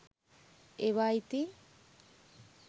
ඒවා ඉතින්